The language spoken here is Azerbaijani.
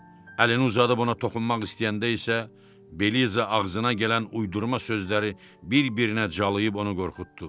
Əlini uzadıb ona toxunmaq istəyəndə isə Beliza ağzına gələn uydurma sözləri bir-birinə calayıb onu qorxutdu.